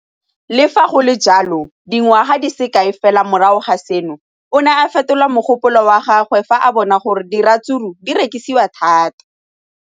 Le fa go le jalo, dingwaga di se kae fela morago ga seno, o ne a fetola mogopolo wa gagwe fa a bona gore diratsuru di rekisiwa thata.